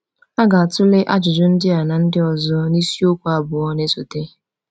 A ga-atụle ajụjụ ndị a na ndị ọzọ n’isiokwu abụọ na-esote.